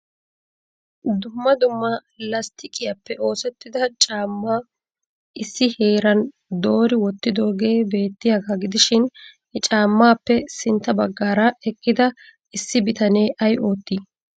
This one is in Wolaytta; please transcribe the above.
Dumma dumma lastiqiyappe oosettida caamma issi heeran doori wottidoogee beettiyaaga gidishin he caammappe sintta baggaara eqqida issi bitanee ay otti?